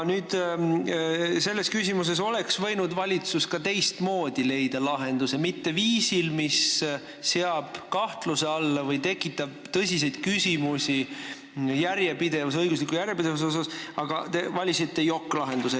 Selles küsimuses oleks valitsus võinud leida ka teistmoodi lahenduse, mitte teha seda sel viisil, mis seab kahtluse alla õigusliku järjepidevuse või tekitab selle kohta tõsiseid küsimusi, aga te valisite jokk-lahenduse.